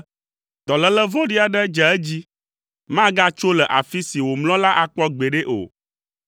“Dɔléle vɔ̃ɖi aɖe dze edzi, magatso le afi si wòmlɔ la akpɔ gbeɖe o.”